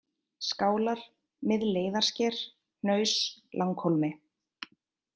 Skálar, Miðleiðarsker, Hnaus, Langhólmi